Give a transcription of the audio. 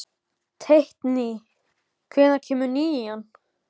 Teitný, hvenær kemur nían?